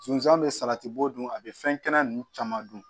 Sunsan bɛ salati b'o dun a bɛ fɛn kɛnɛ ninnu caman dun